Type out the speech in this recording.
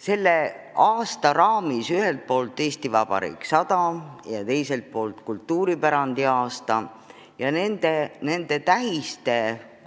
Selle aasta raamis ühelt poolt "Eesti Vabariik 100" ja teiselt poolt kultuuripärandiaasta ning nende tähiste